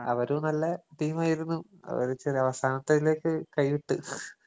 അവരും നല്ല ടീമായിരുന്നു. കളിച്ചൊരവസാനത്തയിലേക്ക് കൈ വിട്ട്.